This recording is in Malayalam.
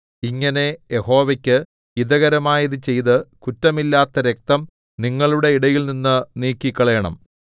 ഇങ്ങനെ യഹോവയ്ക്ക് ഹിതകരമായത് ചെയ്ത് കുറ്റമില്ലാത്ത രക്തം നിങ്ങളുടെ ഇടയിൽനിന്ന് നീക്കിക്കളയണം